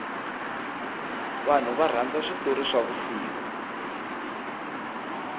vanhu varhandza switori swa vusiku